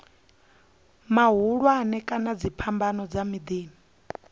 mahulwane kana dziphambano dza miḓini